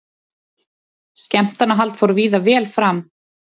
Skemmtanahald fór víða vel fram